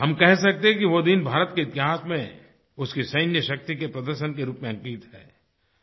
हम कह सकते हैं कि वो दिन भारत के इतिहास में उसकी सैन्यशक्ति के प्रदर्शन के रूप में अंकित है